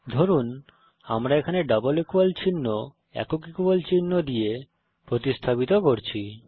ধরুন আমরা এখানে ডাবল ইকুয়াল চিহ্ন একক ইকুয়াল চিহ্ন দিয়ে প্রতিস্থাপিত করছি